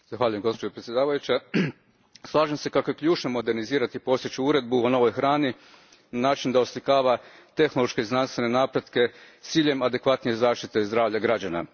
Gospođo predsjednice, slažem se kako je ključno modernizirati postojeću uredbu o novoj hrani na način da oslikava tehnološke i znanstvene napretke s ciljem adekvatnije zaštite zdravlja građana.